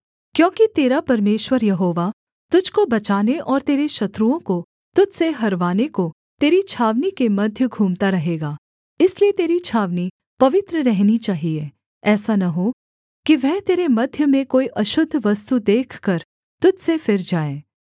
क्योंकि तेरा परमेश्वर यहोवा तुझको बचाने और तेरे शत्रुओं को तुझ से हरवाने को तेरी छावनी के मध्य घूमता रहेगा इसलिए तेरी छावनी पवित्र रहनी चाहिये ऐसा न हो कि वह तेरे मध्य में कोई अशुद्ध वस्तु देखकर तुझ से फिर जाए